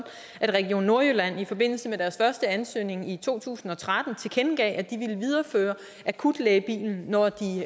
at region nordjylland i forbindelse med deres første ansøgning i to tusind og tretten tilkendegav at de ville videreføre akutlægebilen når de